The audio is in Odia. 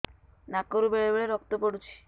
ନାକରୁ ବେଳେ ବେଳେ ରକ୍ତ ପଡୁଛି